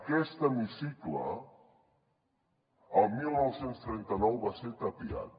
aquest hemicicle al dinou trenta nou va ser tapiat